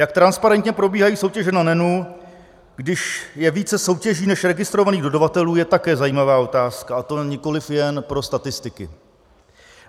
Jak transparentně probíhají soutěže na NEN, když je více soutěží než registrovaných dodavatelů, je také zajímavá otázka, a to nikoliv jen pro statistiky.